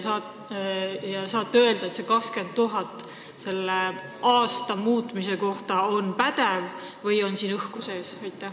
Kas te saate öelda, et see 20 000 on nende arenduste jaoks vaja minev summa, või on siin õhku sees?